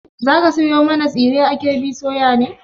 Za ka sayo mana tsire a KB soya ne?